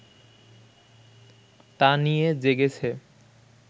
তা নিয়ে জেগেছে